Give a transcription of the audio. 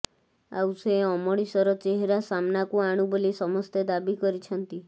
ଆଉ ସେ ଅମଣିଷର ଚେହେରା ସାମ୍ନାକୁ ଆଣୁ ବୋଲି ସମସ୍ତେ ଦାବି କରିଛନ୍ତି